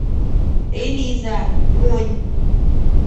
элиза бронь